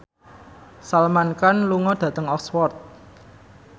Salman Khan lunga dhateng Oxford